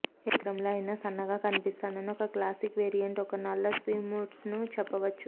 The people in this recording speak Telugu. ఏ చిత్రంలో అయినా సన్నగా కనిపిస్తాయని ఒక క్లాసిక్ వేరియంట్ ఒక నల్ల స్విమ్సూట్ను చెప్పవచ్చు